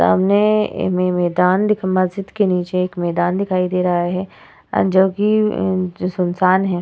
सामने ए में मैदान दिख मस्जिद के नीचे एक मैदान दिखाई दे रहा है अ जो कि अ सुनसान है।